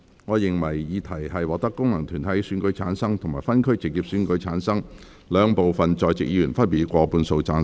我認為議題獲得經由功能團體選舉產生及分區直接選舉產生的兩部分在席議員，分別以過半數贊成。